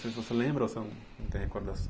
Você lembra ou você não tem recordação?